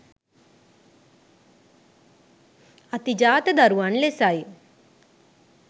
අතිජාත දරුවන් ලෙසයි.